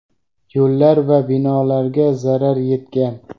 yo‘llar va binolarga zarar yetgan.